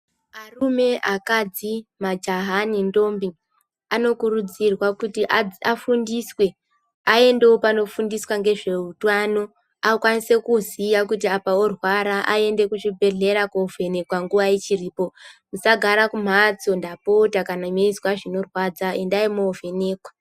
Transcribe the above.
Arume akadzi majaha ne ndombi ano kurudzirwa kuti afundiswe ayendewo pano fundiswa ngezve utano akwanise kuziya kuti apa orwara ayende ku zvibhedhlera ko vhenekwa nguva ichiripo tisa gara ku mhatso ndapota kana meizwa zvino radza endai mo vhenekwa.